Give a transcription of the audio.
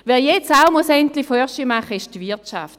Wer jetzt auch endlich vorwärtsmachen muss, ist die Wirtschaft.